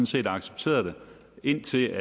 set accepteret det indtil